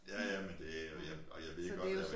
Ja ja men det er jeg og jeg ved godt at